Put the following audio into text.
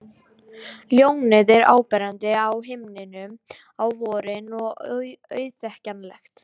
Ljónið er áberandi á himninum á vorin og auðþekkjanlegt.